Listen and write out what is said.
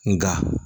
Nga